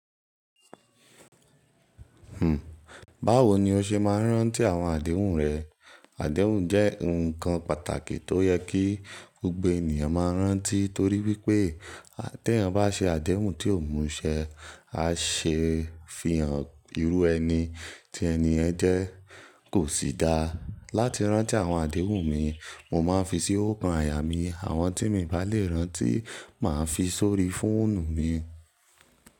Hm, báwo ni o ṣe máa ń rántí àwọn àdéhùn rẹ? Àdéhùn jẹ́ ǹkan pàtàkì tó yẹ kí gbogbo ènìyàn máa rántí torí wípé tí ẹ̀yan bá ṣe àdéhùn tí ò múṣẹ, á ṣe ifiyàn irú ẹni tí ẹni ẹ̀ jẹ́ kò sì dáa. Láti rántí àwọn àdéhùn mi, mo máa ń fi sí okan àyà mi, àwọn tí mo bá lè rántí máa ń fi sórí fóònù mi.